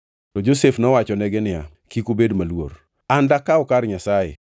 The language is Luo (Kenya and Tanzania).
To Josef nowachonegi niya, “Kik ubed maluor. An dakaw kar Nyasaye?